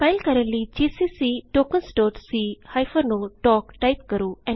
compile ਕਰਨ ਲਈ GCC tokens c o ਟੋਕ ਜੀਸੀਸੀ tokensਸੀ ਓ ਟੋਕ ਟਾਈਪ ਕਰੋ